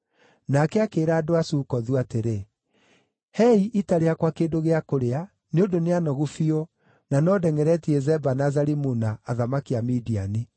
Nake akĩĩra andũ a Sukothu atĩrĩ, “Heei ita rĩakwa kĩndũ gĩa kũrĩa; nĩ ũndũ nĩ anogu biũ, na no ndengʼeretie Zeba na Zalimuna, athamaki a Midiani.”